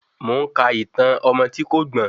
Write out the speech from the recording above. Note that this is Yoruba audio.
Mo ń ka ìtàn ọmọ tí kò gbọ́n.